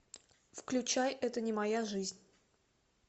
включай это не моя жизнь